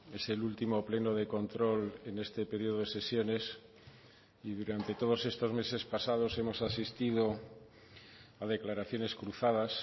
es el último pleno de control en este periodo de sesiones y durante todos estos meses pasados hemos asistido a declaraciones cruzadas